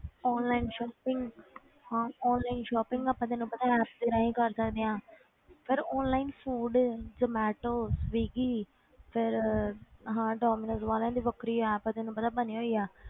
Online shopping ਹਾਂ online shopping ਆਪਾਂ ਤੈਨੂੰ ਪਤਾ ਹੈ apps ਦੇ ਰਾਹੀਂ ਕਰ ਸਕਦੇ ਹਾਂ ਫਿਰ online food ਜੋਮਟੋ ਸਵਿਗੀ ਫਿਰ ਆਹ ਡੋਮੀਨੋਜ ਵਾਲਿਆਂ ਦੀ ਵੱਖਰੀ app ਤੈਨੂੰ ਪਤਾ ਬਣੀ ਹੋਈ ਹੈ,